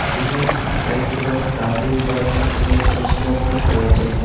জিমের চারিদিকে অনেক ডাম্বেল বা জি-জি-জিমের জিম সামগ্রীক রয়েছে।